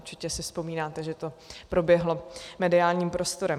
Určitě si vzpomínáte, že to proběhlo mediálním prostorem.